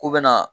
K'u bɛna